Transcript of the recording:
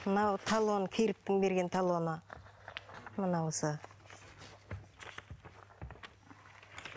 мынау талон керіктің берген талоны мынауысы